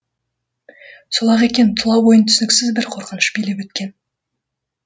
сол ақ екен тұла бойын түсініксіз бір қорқыныш билеп өткен